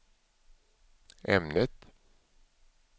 ämnet